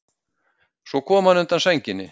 Svo kom hann undan sænginni.